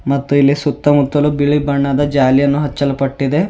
ಮತ್ತು ಇಲ್ಲಿ ಸುತ್ತಮುತ್ತಲು ಬಿಳಿ ಬಣ್ಣದ ಜಾಲಿಯಾನ ಹಚ್ಚಲ್ಪಟ್ಟಿದೆ.